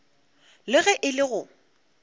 le ge e le go